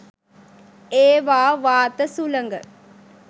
ඒවා වාත සුළඟ